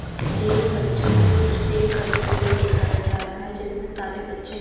ये बच्चों को कुश्ती करते हुए दिखाया जा रहा है जिसमें सारे बच्चे--